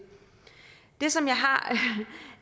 det som jeg har